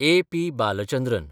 A. P. Balachandran